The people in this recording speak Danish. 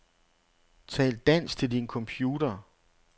Tal dansk til din computer.